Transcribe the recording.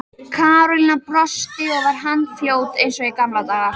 Karólína brosti og var handfljót eins og í gamla daga.